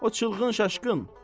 O çılgın şaşkın.